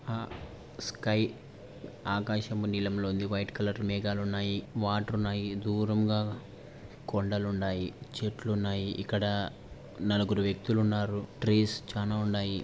Sky ఆకాశము నీలంలో ఉంది. వైట్ కలర్ మేఘాలు ఉన్నాయి. వాటర్ ఉన్నాయి. దూరంగా కొండలు ఉన్నాయి. చెట్లు ఉన్నాయి. ఇక్కడ నలుగురు వ్యక్తులు ఉన్నారు. ట్రీస్ చాలా ఉన్నాయి.